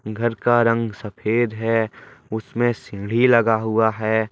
घर का रंग सफेद है उसमें सीड़ी लगा हुआ है।